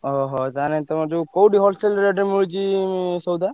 ଓହୋ ତାହେଲେ ତମର ଯୋଉ କୋଉଠି wholesale rate ମିଳୁଛି ସଉଦା?